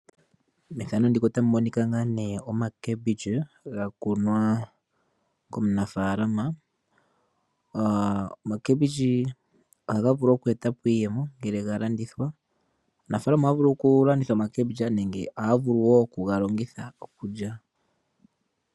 Oomboga dha kunwa komunafaalama. Oomboga ohayi vulu oku eta po iiyemo ngele ya landithwa. Aanafaalama ohaya vulu okulanditha omboga nohaya vulu wo okuyi lya.